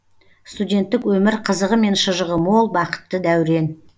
студенттік өмір қызығы мен шыжығы мол бақытты дәурен